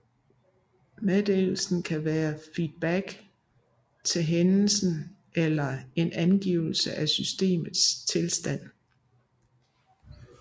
Meddelelsen kan være feedback til hændelsen eller en angivelse af systemets tilstand